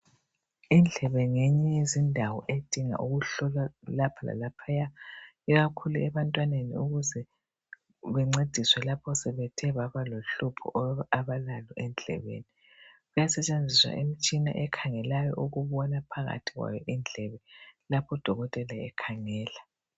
Indlebe ngeyinye yezindawo edinga ukuhlolwa lapha lalaphaya ikakhulu ebantwaneni ukuze bencediswe lapho sebethe babalohlupho abalalo endlebeni. Kuyasetshenziswa imitshina ekhangelayo ukubona phakathi kwayo indlebe lapho udokotela ekhangela.